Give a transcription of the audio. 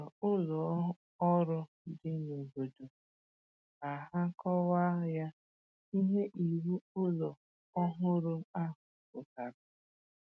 Ọ kpọrọ ụlọ ọrụ dị n’obodo ka ha kọwaa ya ihe iwu ụlọ ọhụrụ ahụ pụtara